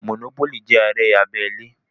Mònópólì jẹ́ eré abẹ́lé